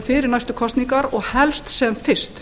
fyrir næstu kosningar og helst sem fyrst